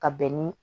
Ka bɛn ni